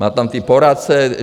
Má tam ty poradce.